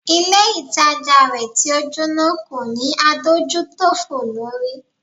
Ilé ìtajà rẹ̀ tí o Jóná kò ní adójútòfò lórí.